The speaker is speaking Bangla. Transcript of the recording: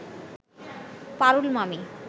পারুল মামি